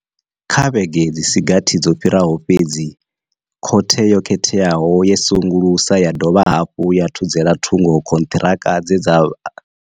Kha vhege dzi si gathi dzo fhiraho fhedzi, khothe yo khetheaho yo sengulusa ya dovha hafhu ya thudzela thungo khonṱhiraka dze dza.